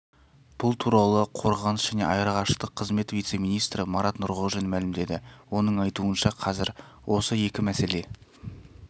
бұл туралы қорғаныс және аэроғарыштық қызмет вице-министрі марат нұрғожин мәлімдеді оның айтуынша қазір осы екі мәселе